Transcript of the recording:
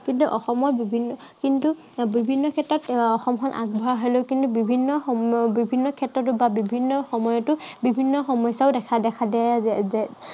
কিন্তু অসমৰ বিভিন্ন কিন্তু বিভিন্ন ক্ষেত্ৰত এৰ অসমখন আগবঢ়া হলেও কিন্তু বিভিন্ন সময়, উম বিভিন্ন ক্ষেত্ৰতো বা বিভিন্ন সময়তো বিভিন্ন সমস্য়াও দেখা দেখা যায়।